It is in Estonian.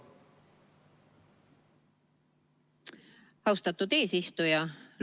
Austatud eesistuja!